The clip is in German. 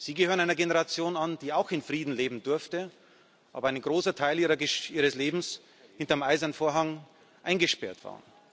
Sie gehören einer Generation an, die auch in Frieden leben durfte, die aber einen großen Teil ihres Lebens hinter dem Eisernen Vorhang eingesperrt war.